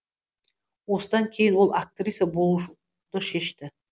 осыдан кейін ол актриса болуды шешті